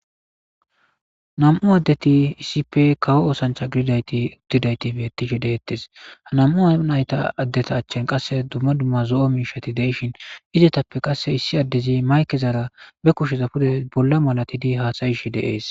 nam7u addeti isipe kawo oosancha gididayti gididaytibetishe deettes ha nam7u nayta addeta achchen qasse dumma dumma zo7o miishati deishin izetappe qasse issi addezi maykezaara be kusheza pude bolla malatidi haasayish deees